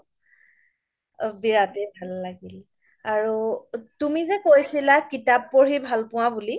বিৰাতে ভাল লাগিল আৰু তুমি যে কৈছিলা কিতাপ পঢ়ি ভাল পোৱা বুলি